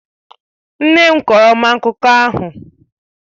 Nne m kọọrọ m akụkọ ahụ.